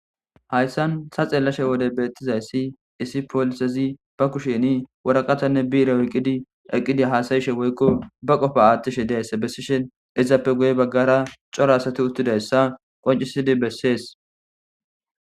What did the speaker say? hayssan ta xeelashe wode beettizayssi isi poolisezi ba kusheni woraqatanne biire eqqidi eqqidi haasayishe woykko ba qofa aathtishe deayssa bessishen izappe guye baggara cora asati uttidayssa qoncisidi bessees